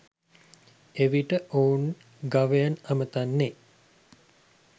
එවිට ඔවුන් ගවයන් අමතන්නේ